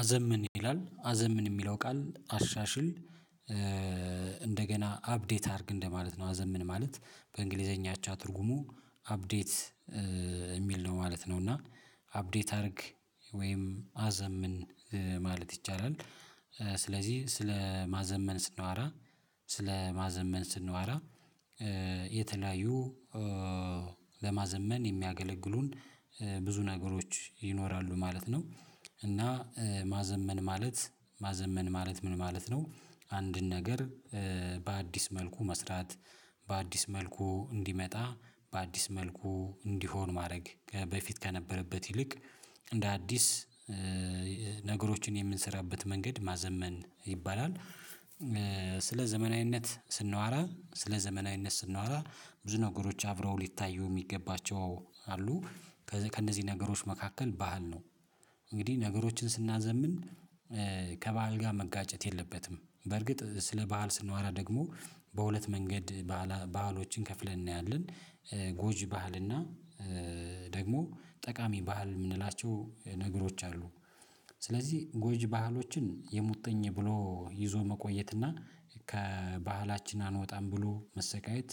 አዘምን ይላል አዘምን የሚለው ቃል አሻሽል እንደገና አፕዴት አድርግ እንደማለት ነው አዘምን ማለት በእንግሊዘኛ አቻ ትርጉሙ አፕዴት የሚል ነው ማለት ነው እና አፕዴት አድርግ ወይም አዘምን ማለት ይቻላል፤ ስለዚህ ስለ ማዘመን ስናዋራ ስለ ማዘመን ስናዋራ የተለያዩ ለማዘመን የሚያገለግሉን ብዙ ነገሮች ይኖራሉ ማለት ነው እና ማዘመን ማለት ማዘመን ማለት ምን ማለት ነው አንድን ነገር በአዲስ መልኩ መስራት፤ በአዲስ መልኩ እንዲመጣ፤ በአዲስ መልኩ እንዲሆን ማድረግ በፊት ከነበረበት ይልቅ እንደ አዲስ ነገሮችን የምንሰራበት መንገድ ማዘመን ይባላል፤ ስለ ዘመናዊነት ስንዋራ ስለ ዘመናዊነት ስናዋራ ብዙ ነገሮች አብረው ሊታዩ የሚገባቸው አሉ ከእነዚህ ነገሮች መካከል ባዓል ነው እንግዲህ ነገሮችን ስናዘምን ከበዓል ጋር መጋጨት የለበትም በርግጥ ስለ ባህል ስንዋራ ደግሞ በሁለት መንገድ ባዓሎችን ከፍለን እናያለን ጎጂ ባህል እና ደግሞ ጠቃሚ ባህል የምንላቸው ነገሮች አሉ ስለዚህ ጎጅ ባህሎችን የሙጥኝ ብሎ ይዞ መቆየትና ከባህላችን አንወጣም ብሎ መሰቃየት